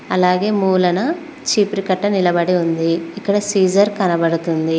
అలాగే మూలన చీపురు కట్ట నిలబడి ఉంది ఇక్కడ సీజర్ కనబడుతుంది.